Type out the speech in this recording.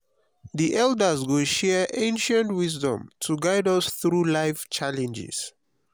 the elders go share ancient wisdom to guide us through life challenges.